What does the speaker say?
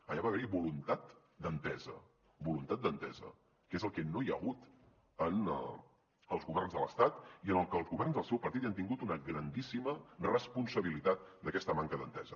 allà va haver hi voluntat d’entesa voluntat d’entesa que és el que no hi ha hagut en els governs de l’estat i en el que els governs del seu partit hi han tingut una grandíssima responsabilitat d’aquesta manca d’entesa